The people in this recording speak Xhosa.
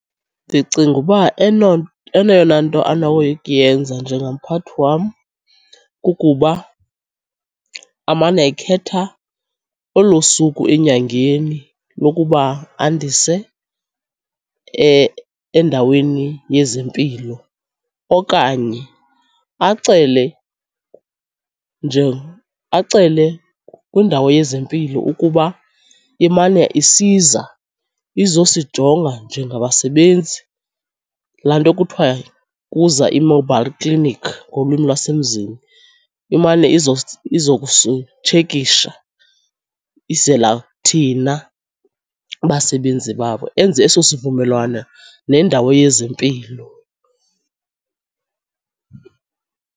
Ndicinga uba eyona nto anokuyenza njengamphathi wam kukuba amane ekhetha olo suku enyangeni lokuba andise endaweni yezempilo okanye acele nje acele kwindawo yezempilo ukuba imane isiza izosijonga njengabasebenzi. Laa nto kuthiwa kuza i-mobile clinic ngolwimi lwasemzini, imane izokusitshekisha, izela thina basebenzi babo. Enze eso sivumelwano nendawo yezempilo.